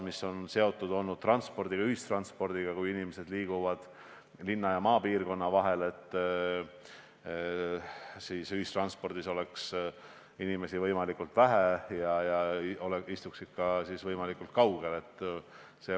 Need on seotud ühistranspordiga ning sellega, et kui inimesed liiguvad linna ja maapiirkonna vahel, siis oleks neid ühistranspordivahendis võimalikult vähe ja nad istuksid üksteisest võimalikult kaugel.